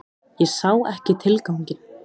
Ég sá ekki tilganginn.